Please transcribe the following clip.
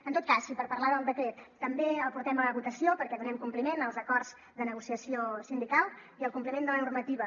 en tot cas i per parlar del decret també el portem a votació perquè donem compliment als acords de negociació sindical i a la normativa